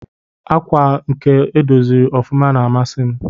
Akwa nke edọziri ọfụma na amasi m.